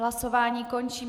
Hlasování končím.